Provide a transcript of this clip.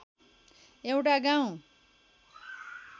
एउटा गाउँ